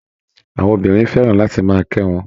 Àwọn obìnrin fẹ́ràn láti máa kẹ́ wọn